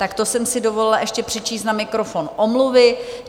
Tak to jsem si dovolila ještě přečíst na mikrofon omluvy.